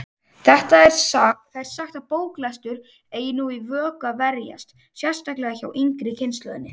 Það er sagt að bóklestur eigi nú í vök að verjast, sérstaklega hjá yngri kynslóðinni.